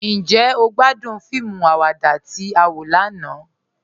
Njẹ́ o gbàdún fíìmù àwàdà tí a wọ lànà?